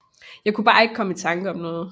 Jeg kunne bare ikke komme i tanke om noget